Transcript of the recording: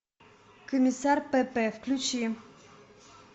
комиссар пепе включи